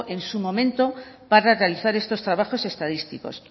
en su momento para realizar estos trabajos estadísticos